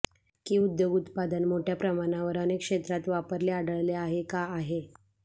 की उद्योग उत्पादन मोठ्या प्रमाणावर अनेक क्षेत्रात वापरले आढळले आहे का आहे